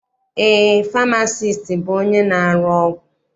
Eé, famasiisti bụ onye na-arụ ọgwụ.